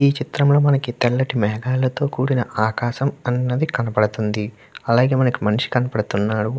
ఈ చిత్రం లో మనకి తెల్లటి మేఘాలతో కూడిన ఆకాశం కనపడుతుంది అలాగే మనిషి కనపడుతున్నాడు .